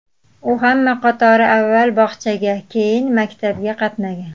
U hamma qatori avval bog‘chaga, keyin maktabga qatnagan.